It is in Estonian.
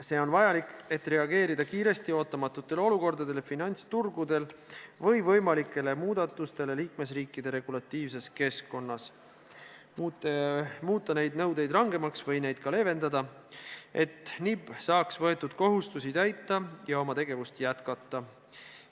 See on vajalik, et reageerida kiiresti ootamatutele olukordadele finantsturgudel või võimalikele muudatustele liikmesriikide regulatiivses keskkonnas, muuta neid nõudeid rangemaks või neid ka leevendada, et NIB saaks võetud kohustusi täita ja oma tegevust jätkata.